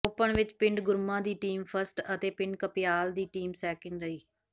open ਵਿਚੋਂ ਪਿੰਡ ਗੁਰਮਾ ਦੀ ਟੀਮ ਫਸਟ ਅਤੇ ਪਿੰਡ ਕਪਿਆਲ ਦੀ ਟੀਮ ਸੈਕਿੰਡ ਰਹੀ